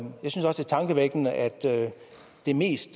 tankevækkende at det mest